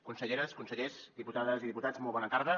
conselleres consellers diputades i diputats molt bona tarda